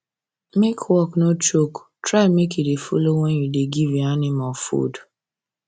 make work no choke try make u dey follow when you da give your animal food